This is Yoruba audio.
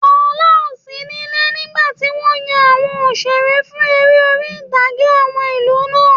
Fola ò sí níle nígbàtí wọ́n yan àwọn òṣeré fún eré orí-ìtàgé àwọn ìlú náà